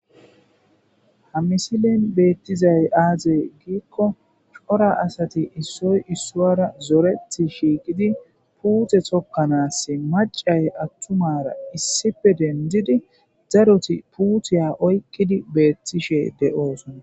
Ha misilen betizay aybe giko asati issoy isuwara zoreti shiiqid puute tokanasi macayi atumara issippe dendid daroti puutiya oykid betishe de'osona